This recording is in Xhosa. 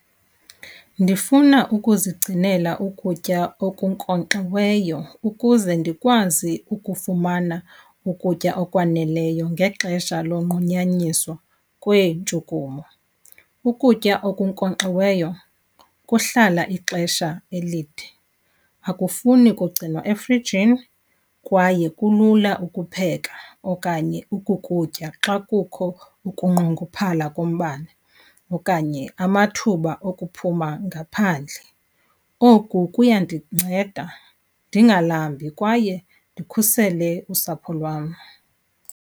Ndifuna ukuzigcinela ukutya okunkonkxiweyo ukuze ndikwazi ukufumana ukutya okwaneleyo ngexesha lonqunyanyiswa kweentshukumo. Ukutya okunkonkxiweyo kuhlala ixesha elide, akufuni kugcinwa efrijini kwaye kulula ukupheka okanye ukukutya xa kukho ukunqongophala kombane okanye amathuba okuphuma ngaphandle. Oku kuyandinceda ndingalambi kwaye ndikhusele usapho lwam.